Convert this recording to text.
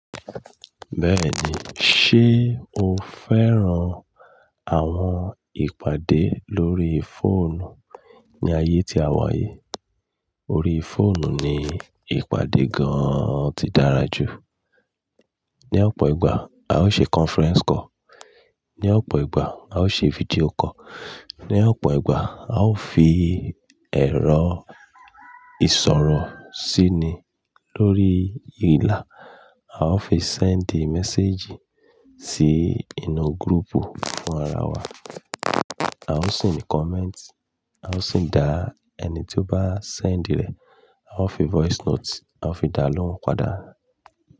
Bẹ́ẹ̀ni, ṣe o fẹ́ran àwọn ìpàdé lórí fóònù? Ni ayé tí a wà yìí, orí fóònù ni ìpàdé gan-an ti dára jù. Ni ọ̀pọ̀ ìgbà, a o ṣe conference call. Ni ọ̀pọ̀ ìgbà, a o ṣe fídíò call. Ni ọ̀pọ̀ ìgbà, a o fi ẹ̀rọ ìṣòro síni lórí ìlà, a o fi send message sí inú group fún ara wa. A o sì ní comment, a o sì dá ẹni tí o bá send rẹ̀, a o fi voice note, a o fi dá lóhùn padà.